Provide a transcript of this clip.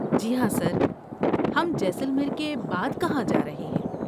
جی ہاں سر، ہم جیسلمیر کے بعد کہاں جا رہے ہیں؟